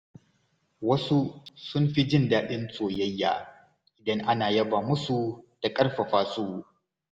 Wasu sun fi jin daɗin soyayya idan ana yaba musu da ƙarfafa su.